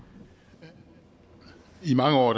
det i mange år